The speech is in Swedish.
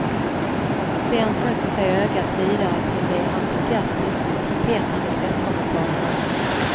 Sen söker sig ögat vidare till de entusiastiskt trumpetande presskommentarerna.